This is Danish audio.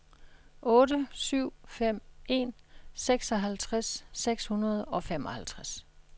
otte syv fem en seksoghalvtreds seks hundrede og femoghalvtreds